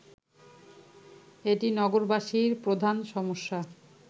এটি নগরবাসীর প্রধান সমস্যা